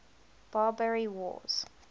barbary wars